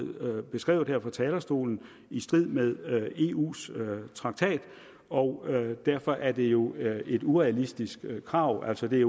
beskrevet her fra talerstolen i strid med eus traktat og derfor er det jo et urealistisk krav altså det